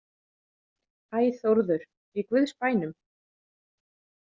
Æ, Þórður, í guðs bænum